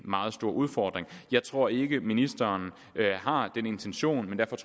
meget stor udfordring jeg tror ikke ministeren har den intention